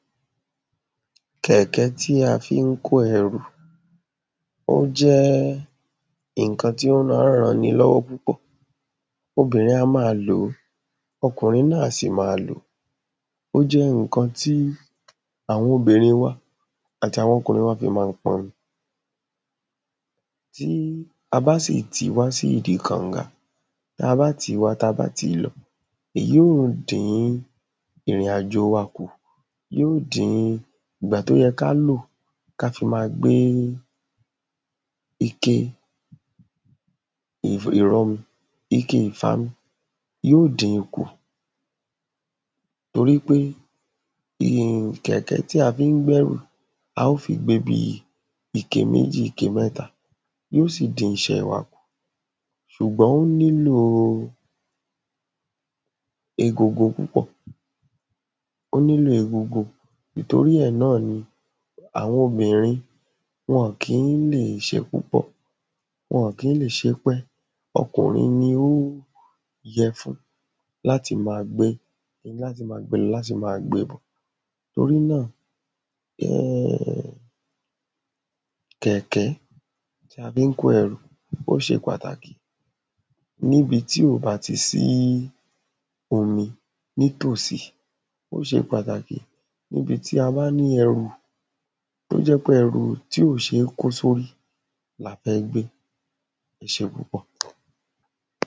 Kẹ̀kẹ́ tí a fí ń kó ẹrù ó jẹ́ ìnkan tí ó má ń ran ni lọ́wọ́ púpọ̀ obìnrin a má a lọ̀ọ́ ọkùnrin náà á sì ma lò ó jẹ́ ǹkan tí àwọn obìnrin wa àti àwọn ọkùnrin wa fi má ń pọmi tí a bá sì tí wá sí ìdi kànga ta bá tí wá ta bá tí lọ èyí ó dín ìrìn àjò wa kù yó dín ìgbà tó yẹ ká lò ká fi ma gbé ike ike ìfami yí ó dinkù torí pé kẹ̀kẹ́ tí a fí ń gbẹ́rù a ó fi gbé bí ike méjì ike mẹ́ta yí ó sì dín iṣẹ́ wa ṣùgbọ́n ó nílò egungun púpọ̀ ó nílò egungun ìtorí ẹ̀ náà ni àwọn obìnrin wọn kí ń lè ṣe púpọ̀ wọn kí ń lè ṣe pẹ́ ọkùnrin ni ó yẹ fún láti ma gbé láti ma gbe lọ láti ma gbe bọ̀ torí náà kẹ̀kẹ́ ta fí ń kó ẹrù ó ṣe pàtàkì níbi tí ò ba ti sí omi ní tòsí ó ṣe pàtàkì níbi tí a bá ni ẹrù tó jẹ́ pe ẹrù tí ò ṣé kó sórí la fẹ́ gbé ẹ ṣé púpọ̀